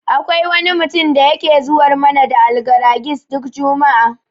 Akwai wani mutum da yake zuwar mana da Algaragis duk juma'a.